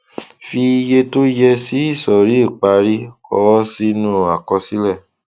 fi iye tó yẹ sí ìsòrí ìparí kọ ó sínú àkọsílẹ